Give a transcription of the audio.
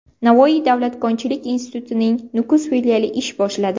Navoiy davlat konchilik institutining Nukus filiali ish boshladi.